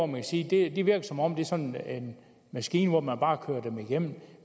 man siger at som om det er sådan en maskine hvor man bare kører dem igennem